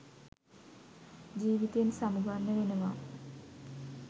ජීවිතයෙන් සමුගන්න වෙනවා.